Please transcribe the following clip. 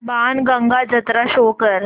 बाणगंगा जत्रा शो कर